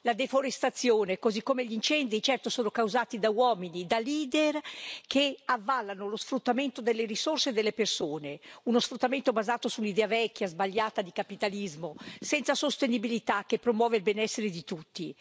La deforestazione, così come gli incendi, sono certo causati da uomini, da leader che avallano lo sfruttamento delle risorse e delle persone, uno sfruttamento basato su un'idea vecchia e sbagliata di capitalismo, senza sostenibilità che promuova il benessere di tutti.